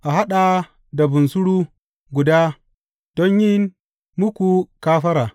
A haɗa da bunsuru guda don yin muku kafara.